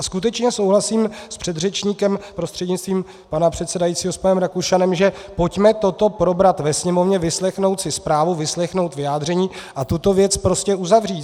A skutečně souhlasím s předřečníkem prostřednictvím pana předsedajícího, s panem Rakušanem, že pojďme toto probrat ve Sněmovně, vyslechnout si zprávu, vyslechnout vyjádření a tuto věc prostě uzavřít.